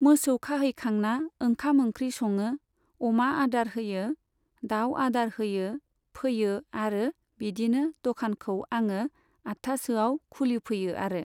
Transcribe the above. मोसौ खाहैखांना ओंखाम ओंख्रि सङो, अमा आदार होयो, दाउ आदार होयो फैयो आरो बिदिनो दखानखौ आङो आठथासोआव खुलिफैयो आरो।